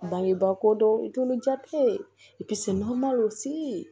Bangebaako dɔ i t'olu jatigɛ